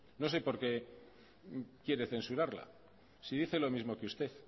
no sé porqué quiere censurarla si dice lo mismo que usted